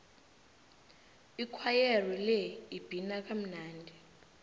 ikhwayere le ibhina kamnandi